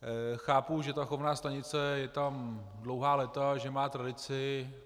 Chápu, že ta chovná stanice je tam dlouhá léta, že má tradici.